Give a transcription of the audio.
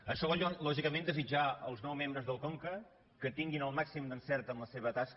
en segon lloc lògicament desitjar als nous membres del conca que tinguin el màxim d’encert en la seva tasca